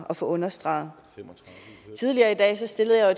at få understreget tidligere i dag stillede jeg